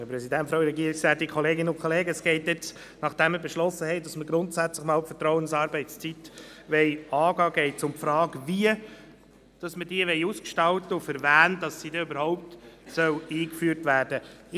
Nachdem wir beschlossen haben, dass wir die Vertrauensarbeitszeit grundsätzlich angehen wollen, geht es um die Frage, wie wir diese ausgestalten und für wen sie überhaupt eingeführt werden soll.